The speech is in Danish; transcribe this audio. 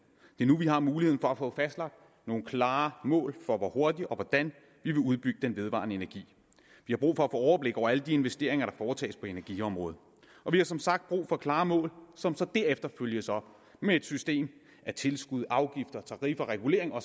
det er nu vi har muligheden for at få fastlagt nogle klare mål for hvordan og hvor hurtigt vi vil udbygge den vedvarende energi vi har brug for at få overblik over alle de investeringer der foretages på energiområdet og vi har som sagt brug for klare mål som så derefter følges op med et system af tilskud afgifter tariffer regulering og